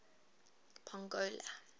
pongola